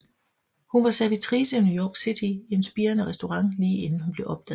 Hun var servitrice i New York City i en spirende restaurant lige inden hun blev opdaget